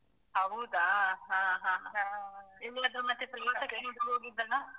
ಹೌದಾ ಹಾ ಹಾ. ಹಾ. ಎಲ್ಲಿಗಾದ್ರೂ ಮತ್ತೆ ಪ್ರವಾಸಕ್ಕೆ. .